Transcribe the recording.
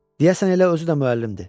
Deyəsən elə özü də müəllimdir.